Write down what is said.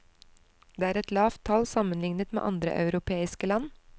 Det er et lavt tall sammenlignet med andre europeiske land.